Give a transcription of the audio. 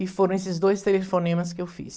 E foram esses dois telefonemas que eu fiz.